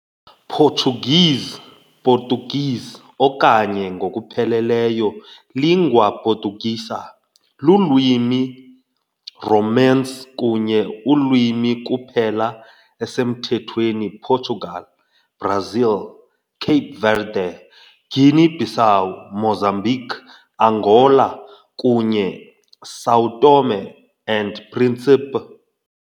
Portuguese Português okanye, ngokupheleleyo, língua portuguesa, lulwimi Romance kunye ulwimi kuphela esemthethweni Portugal, Brasil, Cape Verde, Guinea-Bissau, Mozambique, Angola, kunye São Tomé and Príncipe.